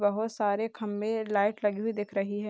बहुत सारे खंबे और लाइट लगी हुई दिख रही है।